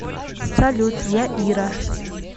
салют я ира